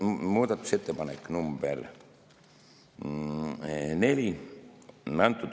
Muudatusettepanek nr 4.